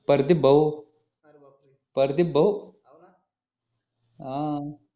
प्रदीप भाऊ प्रदीप भाऊ हा